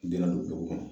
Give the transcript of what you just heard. Don na don dugu kɔnɔ